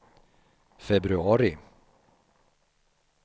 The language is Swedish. februari